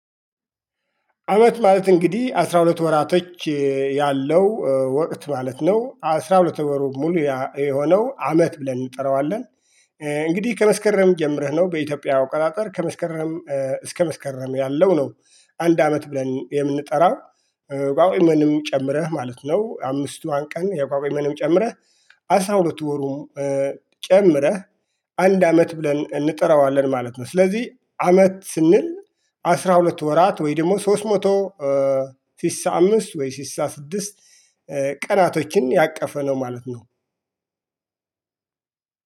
አመት ማለት እንግዲህ አስራ ሁለት ወራቶች ያለው ወቅት ማለት ነው አስራ ሁለት ወር ሙሉ የሆነው አመት ብለን እንጠራዋለን። እንግዲህ ከመስከረም ጀምረህ ነው በኢትዮጵያ አቅጣጠር ከመስከረም እስከ መስከረም ያለው ነው አንድ አመት ብለን የምንጠራው። ቋጉሜንም ጨምረህ ማለት ነው አምስቷን ቀን የቋጉሜንም ጨምረህ አስራ ሁለት ወሩን ጨምረህ አንድ አመት ብለን እንጥረዋለን ማለት ነው። ስለዚህ አመት ስንል አስራ ሁለት ወራት ወይ ደግሞ ሶስት መቶ ስሳ አምስት ወይ ስሳ ስድስት ቀናቶችን ያቀፈ ነው ማለት ነው።